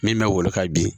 Min bɛ wolo ka bin